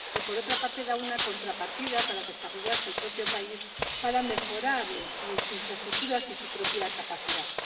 Y, por otra parte, prevé una contrapartida para que se desarrolle el propio país, para mejorar sus infraestructuras y sus propias capacidades.